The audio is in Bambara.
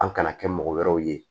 An kana kɛ mɔgɔ wɛrɛw ye